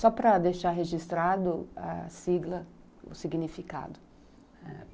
Só para deixar registrado a sigla, o significado.